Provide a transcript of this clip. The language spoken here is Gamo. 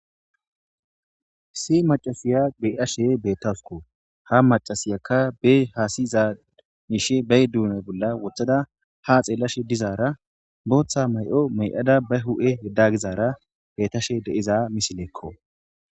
Issi macasiya beashe beettasuko ha macasiyakka be haasizad niishe bey duuna bolla wothada ha xeellashe dizaara booththa may'o mey'ada ba hu7e yeddagizaara beetashe deiza misileekko.